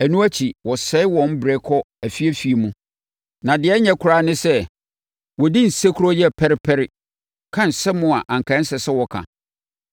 Ɛno akyi, wɔsɛe wɔn berɛ kɔ afieafie mu na deɛ ɛnyɛ koraa ne sɛ, wɔdi nsekuro yɛ pɛrepɛre, ka nsɛm a anka ɛnsɛ sɛ wɔka.